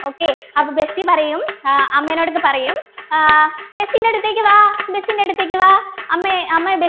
okay അപ്പൊ Bessie പറയും ആഹ് അമ്മേനോടിത് പറയും ആഹ് ബെസിന്റെ അടുത്തേക്ക് വാ ബെസിന്റെ അടുത്തേക്ക് വാ അമ്മെ അമ്മെ